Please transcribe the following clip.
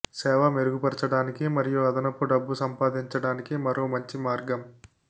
సేవ మెరుగుపరచడానికి మరియు అదనపు డబ్బు సంపాదించడానికి మరో మంచి మార్గం